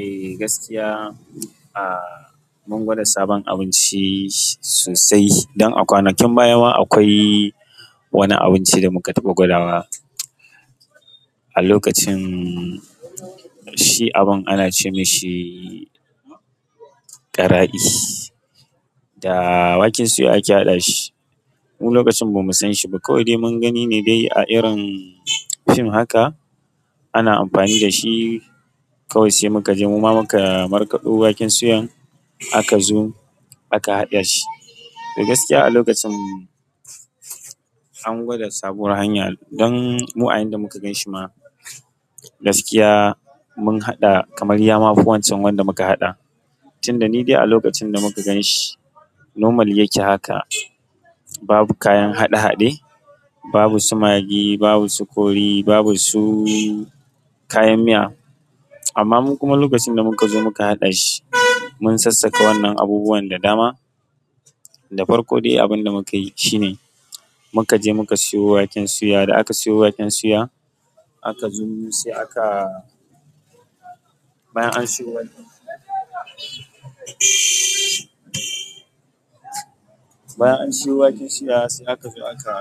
Eh gaskiya, ah mun gwada sabon abinci sosai don a kwanakin baya ma akwai wani abinci da muka taɓa gwada wa. A lokacin, shi abun ana ce mashi ƙarai da waken suya ake haɗa shi. Mu lokacin ba mu san shi ba, kawai dai mun gani ne dai a irin fim haka ana amfani da shi. Kawai sai muka je muma maka markaɗo waken suyan aka zo aka haɗa shi. To gaskiya a lokacin an gwada sabuwar hanya don mu ayan da muka ganshi ma. Gajiya mun haɗa kamar yama fi wancan wanda muka haɗa tunda ni dai a lokacin da muka gan shi normal yake haka. Babu kayan haɗe haɗe, babu su magi, babu su kori, babu su kayan miya. Amma mu kuma lokacin da muka zo muka haɗa shi mun sassaka wannan abubuwan da dama. Da farko dai abin da muka yi shi ne muka je muka siyo waken suya. Da aka siyo waken suya aka zo sai aka. Bayan an siyo waken bayan an siyo waken suya sai aka zo aka.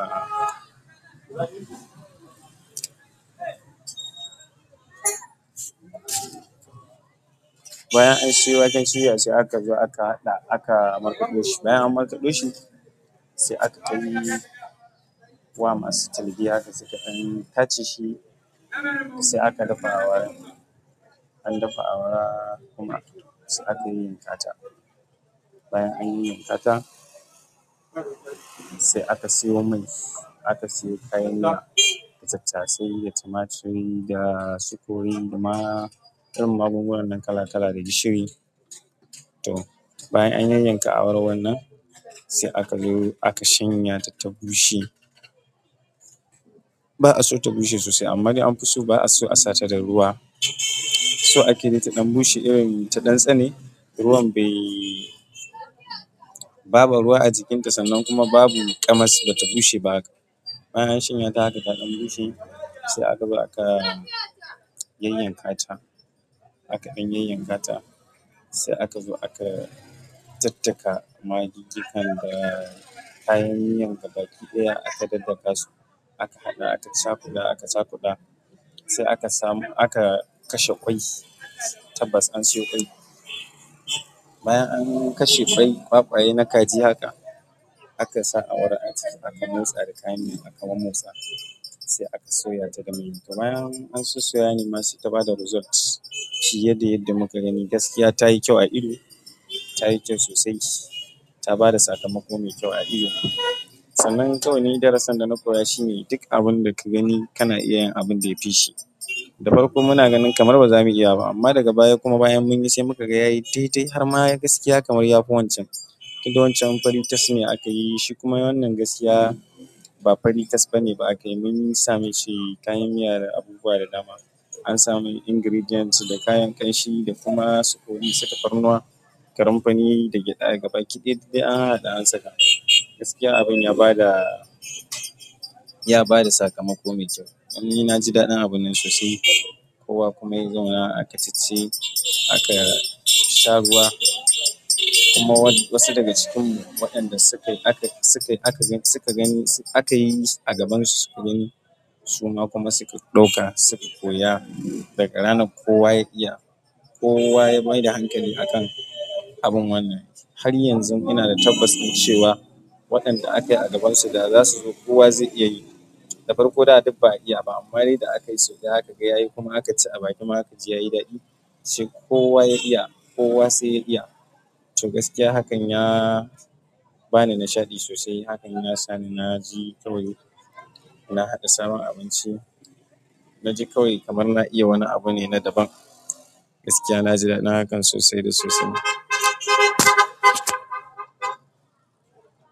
Bayan an siyo waken suya sai aka zo aka haɗa aka markaɗo shi. Bayan an markaɗo shi sai aka akai zuwa masu talge haka suka ɗan tace shi sai aka dafa awara. An dafa awara kuma sai aka yi yayyankata. Bayan anyi yayyankata sai aka siyo mai, aka siyo kayan da tattasai da tumaturi da su kori, da ma irin abubuwan nan kala kala da gishiri. To bayan an yanyanke awara wannan sai aka zo aka shanya ta ta bushe. Ba a so ta bushe sosai amma dai an fi so ba a so a sata da ruwa. So ake yi ta ɗan bushe irin ta ɗan tsane. Ruwan bai. Babu ruwa a jikinta sannan kuma babu ƙamas bata bushe ba haka. Bayan an shanya ta haka ta ɗan bushe sai aka zo aka yayyan kata. Haka anyi yayyan kata sai aka zo aka daddaka magigikan da kayan miyan gaba ki ɗaya aka daddaka su. Aka haɗa aka cakuda aka cakuɗa. Sai aka samu aka kashe ƙwai tabbas an siyo ƙwai. Bayan an kashe ƙwai ƙwa ƙwa ye na kaji haka aka sa awara aka motsa da kayan miya aka mamotsa sai aka soya ta da mai. Kaman mun sosoya ne ma sai ta bada result. Shi yadda yadda muka gani gaskiya tayi kyau a ido, tayi kyau sosai. Ta bada sakamako mai kyau a ido. Sannan kawai ni darasan da na koya shi ne duk abun da ka gani kana iya yin abin da ya fi shi. Da farko muna gani kamar baza mu iya ba amma daga baya kuma bayan munyi sai mu kaga har ma gaskiya kamar yafi wancan sai dai wancan fari tas ne aka yishi shi kuma wannan gaskiya ba fari tas ne aka yi shi ba mun sa abubuwa da dama an sami ingredients da kayan ƙamahi da kuma su kori, saka tafarnuwa, kanumfani da gyada, gaba ki ɗaya duk dai an haɗa an saka. Gaskiya abin ya bada, ya bada sakamako mai kyau. Dan ni na ji daɗin abun nan sosai. Kowa kuma ya zauna aka cice aka sha ruwa kuma wasu daga cikin mu waɗanda suka, aka, suka, aka, suka gani, suka gani aka yi a gabansu suka gani su ma kuma suka ɗauka suka koya daga ranar kowa ya iya. Kowa ya maida hankali a kan abun wannan. Har yanzu ina da tabbas ɗin cewa waɗanda aka yi a gabansu da za su zo kowa zai iya yi. Da farko da duk ba a iya ba amma dai da aka yi sau ɗaya aka ga yayi kuma aka ci a bakin mu aka ji yayi daɗi sai kowa ya iya, kowa sai ya iya. To gaskiya hakan ya bani nishaɗi sosai hakan ya sa ni na ji kawai na haɗa sabon abinci. Na ji kawai kamar na iya wani abu ne na daban. Gaskiya na ji daɗin hakan sosai da sosai.